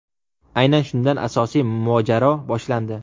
Aynan shundan asosiy mojaro boshlandi.